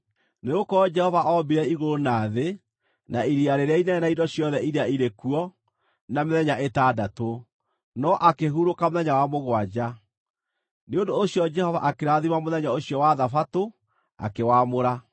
Nĩgũkorwo Jehova ombire igũrũ na thĩ, na iria rĩrĩa inene na indo ciothe iria irĩ kuo, na mĩthenya ĩtandatũ, no akĩhurũka mũthenya wa mũgwanja. Nĩ ũndũ ũcio Jehova akĩrathima mũthenya ũcio wa Thabatũ, akĩwaamũra.